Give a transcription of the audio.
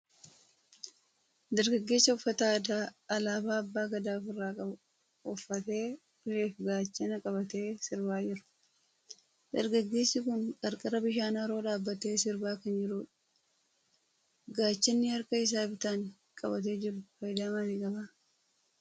Dargaggeessa uffata aadaa alaabaa abbaa gadaa ofirraa qabu uffatee, ulee fi gaachana qabatee sirbaa jiru. Dargaggeessi kun qarqara bishaan haroo dhaabbatee sirbaa kan jirudha. Gaachanni harka isaa bitaan qabatee jiru faayidaa maalii qaba?